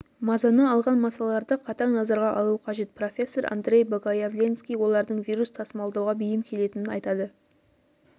мазаны алған масаларды қатаң назарға алу қажет профессор андрей богоявленский олардың вирус тасымалдауға бейім келетінін айтады